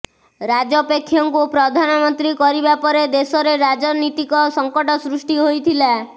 ରାଜପେକ୍ଷଙ୍କୁ ପ୍ରଧାନମନ୍ତ୍ରୀ କରିବା ପରେ ଦେଶରେ ରାଜନୀତିକ ସଙ୍କଟ ସୃଷ୍ଟି ହୋଇଥିଲା